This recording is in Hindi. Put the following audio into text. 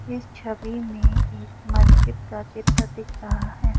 इस छवि में एक महज़िद का चित्र दिख रहा है।